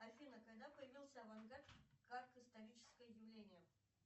афина когда появился авангард как историческое явление